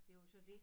Det jo så dét